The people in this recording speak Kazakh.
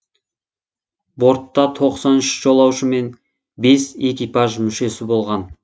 бортта тоқсан үш жолаушы мен бес экипаж мүшесі болған